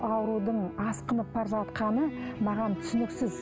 аурудың асқынып бара жатқаны маған түсініксіз